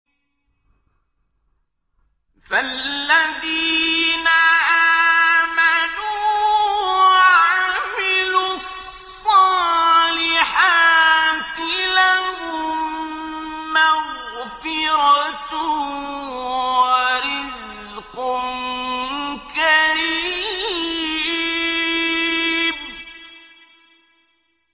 فَالَّذِينَ آمَنُوا وَعَمِلُوا الصَّالِحَاتِ لَهُم مَّغْفِرَةٌ وَرِزْقٌ كَرِيمٌ